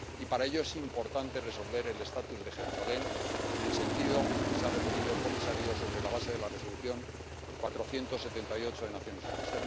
Y, para ello, es importante resolver el estatuto de Jerusalén, en el sentido en que se ha referido el comisario, sobre la base de la Resolución 478 de las Naciones Unidas.